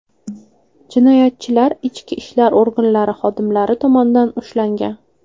Jinoyatchilar ichki ishlar organlari xodimlari tomonidan ushlangan.